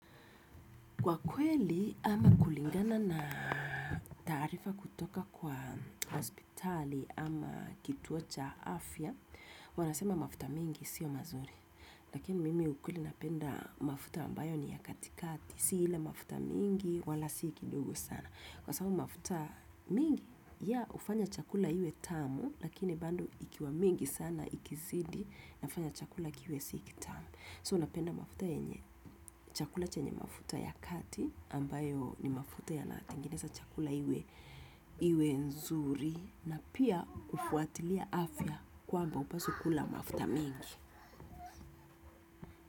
Kwa kweli ama kulingana na taarifa kutoka kwa hospitali ama kituo cha afya, wanasema mafuta mengi siyo mazuri. Lakini mimi ukweli napenda mafuta ambayo ni ya katikati. Si ile mafuta mingi, wala sii kidogo sana. Kwa sababu mafuta mingi, ya hufanya chakula iwe tamu, lakini bado ikiwa mingi sana ikizidi, inafanya chakula kiwe si kitamu. So napenda mafuta yenye, chakula chenye mafuta ya kati ambayo ni mafuta ya na tengeneza chakula iwe iwe nzuri na pia hufuatilia afya kwamba hupaswi kula mafuta mingi.